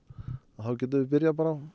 þá getum við byrjað